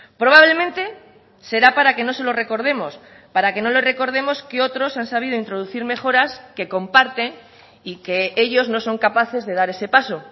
probablemente será para que no se lo recordemos para que no le recordemos que otros han sabido introducir mejoras que comparte y que ellos no son capaces de dar ese paso